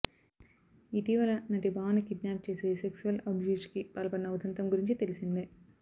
ఇటీవల నటి భావనని కిడ్నాప్ చేసి సెక్సువల్ అబ్యూజ్కి పాల్పడిన ఉదంతం గురించి తెలిసిందే